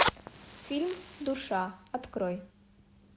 фильм душа открой